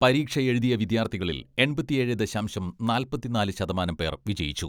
പരീക്ഷയെഴുതിയ വിദ്യാർത്ഥികളിൽ എൺപത്തിയേഴ് ദശാംശം നാല്പത്തിനാല് ശതമാനം പേർ വിജയിച്ചു.